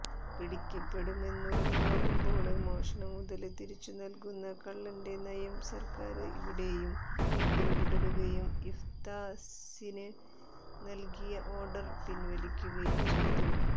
പിടിക്കപ്പെടുമെന്നുറപ്പാകുമ്പോള് മോഷണമുതല് തിരിച്ചുനല്കുന്ന കള്ളന്റെ നയം സര്ക്കാര് ഇവിടെയും പിന്തുടരുകയും ഇഫ്താസിന് നല്കിയ ഓര്ഡര് പിന്വലിക്കുകയും ചെയ്തു